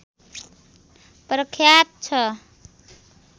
प्रख्यात छ